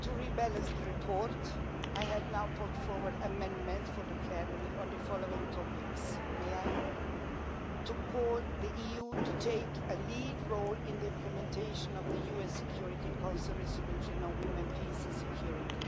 order to rebalance the report, I have now put forward amendments for the plenary on the following topics to call for the EU to take a lead role in the implementation of the UN Security Council resolution on women, peace and security